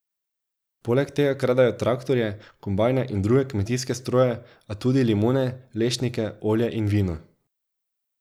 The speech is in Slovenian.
Poleg tega kradejo traktorje, kombajne in druge kmetijske stroje, a tudi limone, lešnike, olje in vino.